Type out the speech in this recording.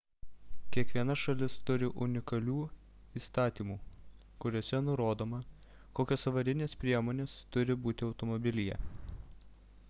kiekviena šalis turi unikalių įstatymų kuriuose nurodoma kokios avarinės priemonės turi būti automobilyje